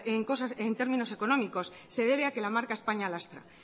en términos económicos se debe a que la marca españa lastra